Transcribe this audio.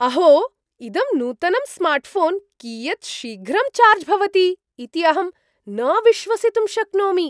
अहो! इदं नूतनं स्मार्ट्ऴोन् कियत् शीघ्रं चार्ज् भवति इति अहं न विश्वसितुं शक्नोमि!